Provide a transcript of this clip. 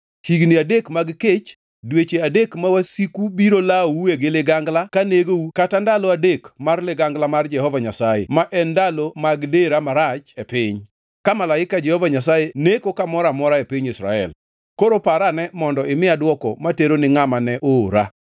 higni adek mag kech, dweche adek ma wasiku biro lawoue gi ligangla ka negou kata ndalo adek mar ligangla mar Jehova Nyasaye (ma en ndalo mag dera marach e piny), ka malaika Jehova Nyasaye neko kamoro amora e piny Israel.’ Koro par ane mondo imiya dwoko matero ni ngʼama ne oora.”